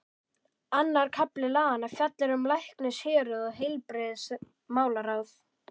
Annar kafli laganna fjallar um læknishéruð og heilbrigðismálaráð.